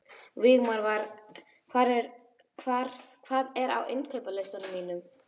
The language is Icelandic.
Vígmar, hvað er á innkaupalistanum mínum?